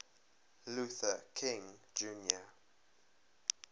luther king jr